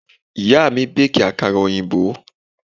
Ìyá mi béèkì àkàrà òyìnbó.